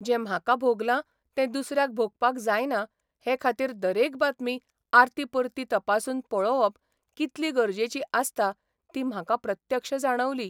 जें म्हाका भोगलां तें दुसऱ्यांक भोगपाक जायना हे खातीर दरेक बातमी आरती परती तपासून पळोवप कितली गरजेची आसता ती म्हाका प्रत्यक्ष जाणवली.